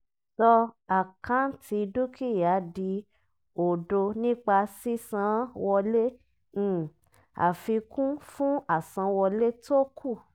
sọ àkáǹtì dúkìá di òdo nípa sísan án wọlé um afikun fún àsanwọlé tókù.